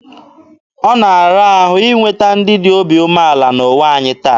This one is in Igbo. Ọ na-ara ahụ inweta ndị dị obi umeala n'ụwa anyị taa.